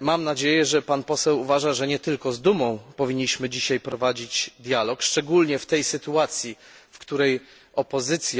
mam nadzieję, że Pan uważa, że nie tylko z Dumą powinniśmy dzisiaj prowadzić dialog, szczególnie w tej sytuacji, w której opozycja